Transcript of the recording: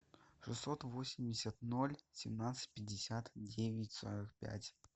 шестьсот восемьдесят ноль семнадцать пятьдесят девять сорок пять